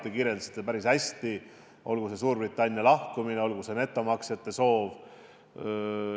Te kirjeldasite päris hästi – olgu see Suurbritannia lahkumine, olgu see netomaksjate arv.